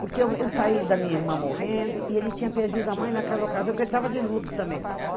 Porque eu eu saí da minha irmã morrendo, e ele tinha perdido a mãe naquela ocasião, porque ele estava de luto também.